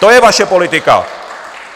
To je vaše politika!